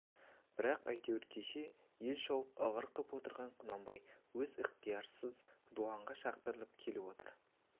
бірақ әйтеуір кеше ел шауып ығыр қып отырған құнанбай өз ықтиярынсыз дуанға шақыртылып кетіп отыр